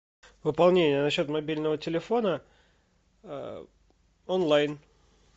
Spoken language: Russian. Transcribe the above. пополнение на счет мобильного телефона онлайн